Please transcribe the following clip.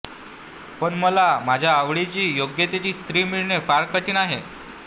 पण मला माझ्या आवडीची योग्यतेची स्त्री मिळणे फार कठीण आहे